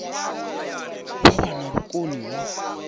vha vha na vhukoni ho